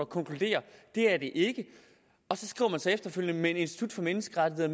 konkluderer at det er det ikke og man så efterfølgende institut for menneskerettigheder